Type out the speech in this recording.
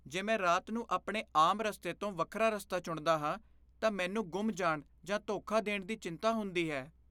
ਜੇ ਮੈਂ ਰਾਤ ਨੂੰ ਆਪਣੇ ਆਮ ਰਸਤੇ ਤੋਂ ਵੱਖਰਾ ਰਸਤਾ ਚੁਣਦਾ ਹਾਂ, ਤਾਂ ਮੈਨੂੰ ਗੁੰਮ ਜਾਣ ਜਾਂ ਧੋਖਾ ਦੇਣ ਦੀ ਚਿੰਤਾ ਹੁੰਦੀ ਹੈ।